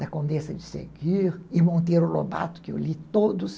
Da Condessa de Seguir e Monteiro Lobato, que eu li todos.